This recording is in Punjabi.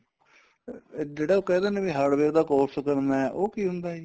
ਫੇਰ ਜਿਹੜਾ ਕਹਿ ਦੇਨੇ ਵੀ hardware ਦਾ course ਕਰਨਾ ਉਹ ਕੀ ਹੁੰਦਾ ਜੀ